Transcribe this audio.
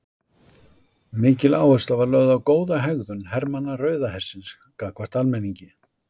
Mikil áhersla var lögð á góða hegðun hermanna Rauða hersins gagnvart almenningi.